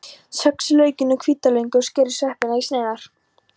Saxið laukinn og hvítlaukinn og skerið sveppina í sneiðar.